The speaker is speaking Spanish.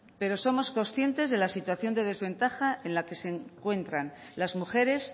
pero somos conscientes de la situación de desventaja en la que